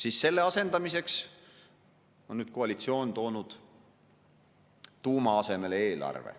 Aga selle asendamiseks on nüüd koalitsioon toonud tuuma asemel eelarve.